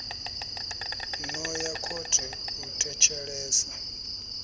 no ya khothe u thetshelesa